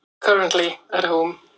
Þeir eru taldir lítið meiddir.